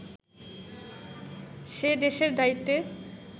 সে দেশের দায়িত্বে